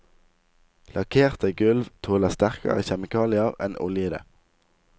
Lakkerte gulv tåler sterkere kjemikalier enn oljede.